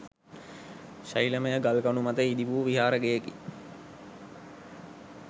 ශෛලමය ගල්කණු මත ඉදිවු විහාර ගෙයකි.